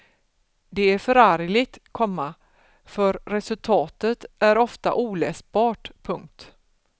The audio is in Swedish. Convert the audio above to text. Det är förargligt, komma för resultatet är ofta oläsbart. punkt